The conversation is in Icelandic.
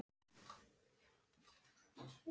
Ég mátti fara.